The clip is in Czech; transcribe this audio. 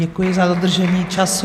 Děkuji za dodržení času.